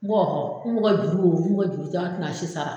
Mɔgɔ n bɛ kɛ juru don